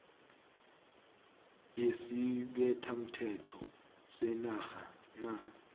yesibethamthetho senarha na